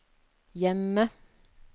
hjemme